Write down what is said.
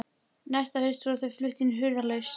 Næsta haust voru þau flutt í hurðarlaust.